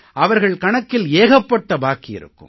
அவர்கள் கணக்கில் ஏகப்பட்ட பாக்கி இருக்கும்